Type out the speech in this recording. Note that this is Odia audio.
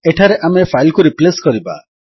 ଏଠାରେ ଆମେ ଫାଇଲ୍ କୁ ରିପ୍ଲେସ୍ କରିବା